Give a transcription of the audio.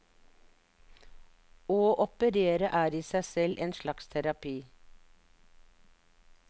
Å operere er i seg selv en slags terapi.